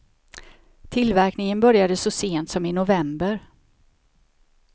Tillverkningen började så sent som i november.